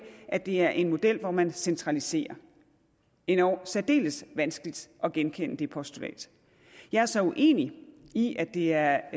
at det er en model hvor man centraliserer endog særdeles vanskeligt at genkende det postulat jeg er så uenig i at det er